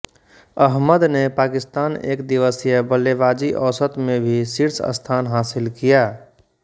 अहमद ने पाकिस्तान एकदिवसीय बल्लेबाजी औसत में भी शीर्ष स्थान हासिल किया